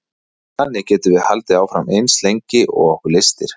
þannig getum við haldið áfram eins lengi og okkur lystir